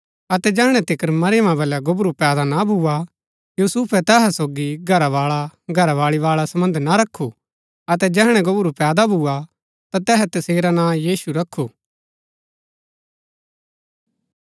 अतै जैहणै तिकर मरियमा बलै गोबरू पैदा ना भुआ यूसुफै तैहा सोगी घरावाळाघरावाळी बाळा सम्वध ना रखु अतै जैहणै गोबरू पैदा भुआ ता तैहै तसेरा नां यीशु रखु